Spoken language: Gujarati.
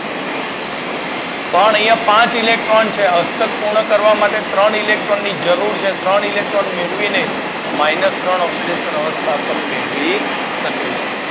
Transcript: પણ અહિયાં પાંચ ઇલેક્ટ્રોન છે અષ્ટક પૂર્ણ કરવા ત્રણ ઇલેક્ટ્રોન ની જરૂર છે ત્રણ ઇલેક્ટ્રોન મેળવીને માઇનસ ત્રણ ઓક્સીડેશન અવસ્થા પણ મેળવી શકે છે.